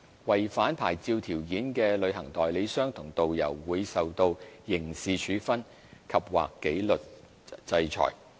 違反牌照條件的旅行代理商和導遊，會受到刑事處分及/或紀律制裁。